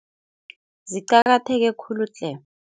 Ziqakatheke khulu tle.